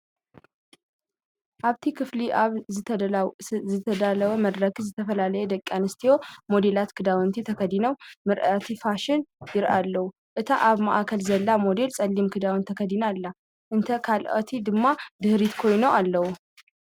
ኣብቲ ክፍሊ ኣብ ዝተዳለወ መድረኽ ዝተፈላለያ ደቂ ኣንስትዮ ሞዴላት ክዳውንቲ ተኸዲነን ምርኢት ፋሽን ይርአ ኣሎ። እታ ኣብ ማእከል ዘላ ሞዴል ጸሊም ክዳን ተኸዲና ኣላ፡ እተን ካልኦት ድማ ድሕሪት ኮይነን ኣለዋ።